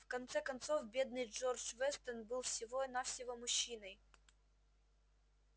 в конце концов бедный джордж вестон был всего-навсего мужчиной